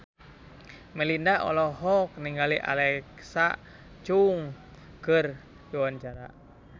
Melinda olohok ningali Alexa Chung keur diwawancara